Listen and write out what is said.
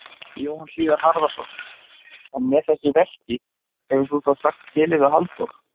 Jóhann Hlíðar Harðarson: En með þessu verki hefur þú þá sagt skilið við Halldór?